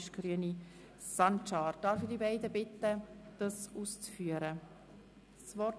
Es liegen zwei Rückweisungsanträge vor.